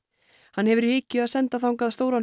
hann hefur í hyggju að senda þangað stóran